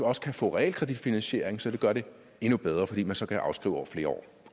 også kan få realkreditfinansiering som gør det endnu bedre fordi man så kan afskrive over flere år